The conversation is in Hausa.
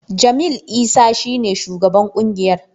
Jamil Isa shi ne shugaban ƙungiyar.